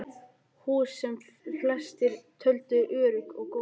Hús, sem flestir töldu örugg og góð, fuku.